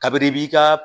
Kabini i b'i ka